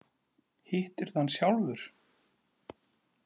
Hittirðu hann sjálfur?